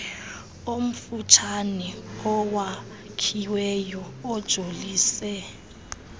omfutshane owakhiweyo ojolise